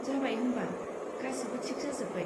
जाबाय होमबा, गासिबो थिक जाजोब्बाय।